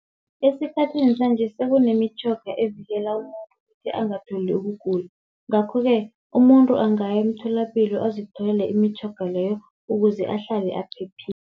Esikhathini sanje sekunemitjhoga evikela umuntu ukuthi angatholi ukugula. Ngakho-ke umuntu angaya emtholapilo azitholele imitjhoga leyo ukuze ahlale aphephile.